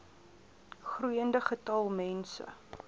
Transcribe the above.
groeiende getal mense